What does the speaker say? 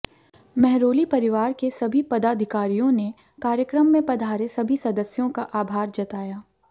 महरोली परिवार के सभी पदाधिकारियों ने कार्यक्रम में पधारे सभी सदस्यों का आभार जताया